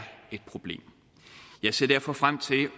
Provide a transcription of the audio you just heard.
et problem jeg ser derfor frem til